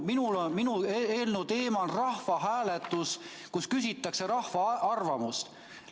Minu eelnõu teema on rahvahääletus, kus küsitakse rahva arvamust.